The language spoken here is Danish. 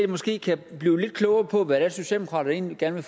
måske kan blive lidt klogere på hvad socialdemokratiet egentlig gerne